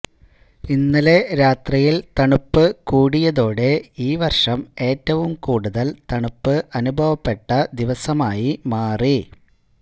ഇന്നലെ രാത്രിയില് തണുപ്പ് കൂടിയതോടെ ഈ വര്ഷം ഏറ്റവും കൂടുതല് തണുപ്പ് അനുഭവപ്പെട്ട ദിവസമായി മാറി